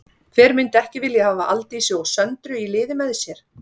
Hver myndi ekki vilja hafa Aldísi og Söndru í liði með sér?